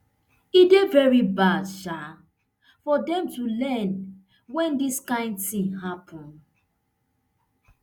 e dey veri hard um for dem to learn wen dis kain tin happun